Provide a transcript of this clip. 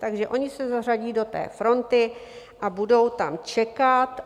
Takže oni se zařadí do té fronty a budou tam čekat.